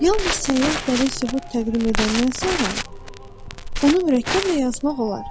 Yalnız səyyah dəlil-sübut təqdim edəndən sonra, onu mürəkkəblə yazmaq olar.